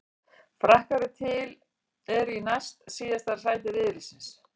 Frakkar eru í næst síðasta sæti riðilsins.